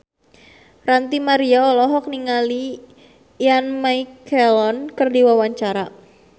Ranty Maria olohok ningali Ian McKellen keur diwawancara